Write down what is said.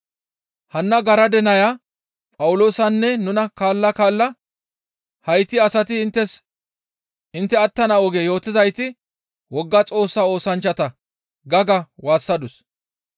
Hanna garade naya Phawuloosanne nuna kaalla kaalla, «Hayti asati inttes intte attana oge yootizayti wogga Xoossa oosanchchata» ga ga waassadus.